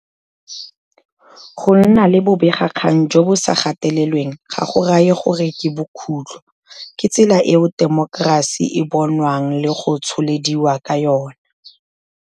Go nna le bobegakgang jo bo sa gatelelweng ga go raye gore ke bokhutlho. Ke tsela eo temokerasi e bonwang le go tsholediwa ka yona.